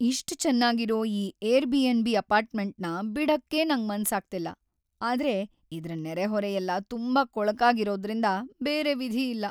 ಇಷ್ಟ್‌ ಚೆನ್ನಾಗಿರೋ ಈ ಏರ್‌ಬಿ.ಎನ್.ಬಿ. ಅಪಾರ್ಟ್ಮೆಂಟ್‌ನ ಬಿಡಕ್ಕೇ ನಂಗ್ ಮನ್ಸಾಗ್ತಿಲ್ಲ, ಆದ್ರೆ ಇದ್ರ ನೆರೆಹೊರೆಯೆಲ್ಲ ತುಂಬಾ ಕೊಳಕಾಗಿರೋದ್ರರಿಂದ ಬೇರೆ ವಿಧಿಯಿಲ್ಲ.